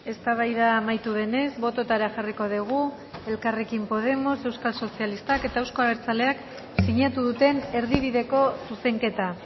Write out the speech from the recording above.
eztabaida amaitu denez bototara jarriko dugu elkarrekin podemos euskal sozialistak eta euzko abertzaleak sinatu duten erdibideko zuzenketa